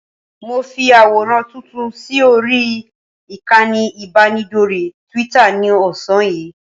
Mo fi àwòrán tuntun sí orí ìkànnì ìbánidọ́rẹ̀ẹ́ Twitter ní ọ̀sán yìí